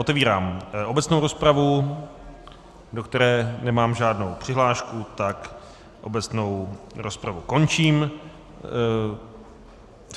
Otevírám obecnou rozpravu, do které nemám žádnou přihlášku, tak obecnou rozpravu končím.